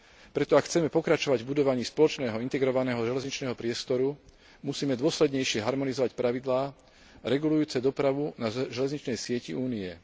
Preto ak chceme pokračovať v budovaní spoločného integrovaného železničného priestoru musíme dôslednejšie harmonizovať pravidlá regulujúce dopravu na železničnej sieti Únie.